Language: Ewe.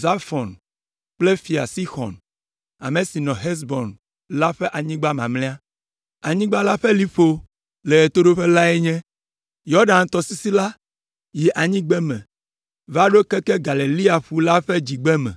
Zafɔn kple Fia Sixɔn, ame si nɔ Hesbon la ƒe anyigba mamlɛa. Anyigba la ƒe liƒo le ɣetoɖoƒe lae nye, Yɔdan tɔsisi la yi anyigbeme va ɖo keke Galilea ƒu la ƒe dzigbeme.